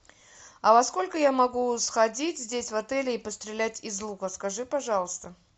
а во сколько я могу сходить здесь в отеле и пострелять из лука скажи пожалуйста